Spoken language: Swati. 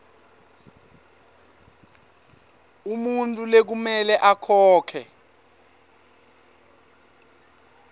umuntfu lekumele akhokhe